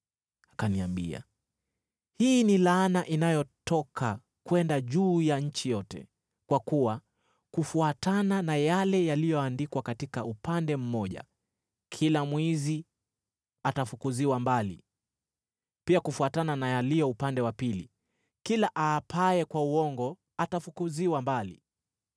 Akaniambia, “Hii ni laana inayotoka kwenda juu ya nchi yote, kwa kuwa kufuatana na yale yaliyoandikwa katika upande mmoja, kila mwizi atafukuziwa mbali, pia kufuatana na yaliyo upande wa pili, kila aapaye kwa uongo atafukuziwa mbali.